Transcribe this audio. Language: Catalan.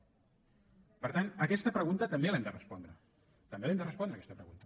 per tant aquesta pregunta també l’hem de respondre també l’hem de respondre aquesta pregunta